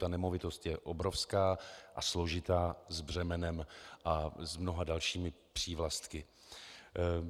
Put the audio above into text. Ta nemovitost je obrovská a složitá, s břemenem a s mnoha dalšími přívlastky.